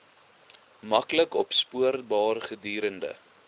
maklik opspoorbaar gedurende